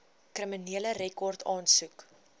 kriminele rekord aansoek